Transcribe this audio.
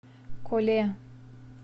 коле